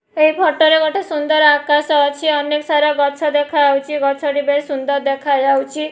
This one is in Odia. ଏ ଫଟୋ ରେ ଗୋଟେ ସୁନ୍ଦର ଆକାଶ ଅଛି ଅନେକ୍ ସାରା ଗଛ ଦେଖାଯାଉଚି ଗଛଟି ବେଶ୍ ସୁନ୍ଦର ଦେଖାଯାଉଛି।